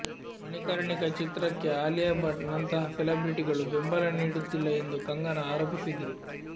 ಮಣಿಕರ್ಣಿಕಾ ಚಿತ್ರಕ್ಕೆ ಅಲಿಯಾ ಭಟ್ ನಂತಹ ಸೆಲಬ್ರಿಟಿಗಳು ಬೆಂಬಲ ನೀಡುತ್ತಿಲ್ಲ ಎಂದು ಕಂಗನಾ ಆರೋಪಿಸಿದ್ರು